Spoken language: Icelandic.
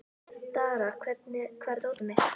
Dara, hvar er dótið mitt?